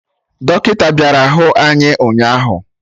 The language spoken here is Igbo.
Dọkịta bịara hụ anyị ụnyaahụ